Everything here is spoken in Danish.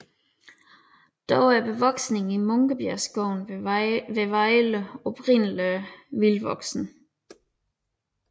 Dog er bevoksningen i Munkebjergskoven ved Vejle oprindeligt vildtvoksende